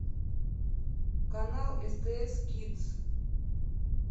канал стс кидс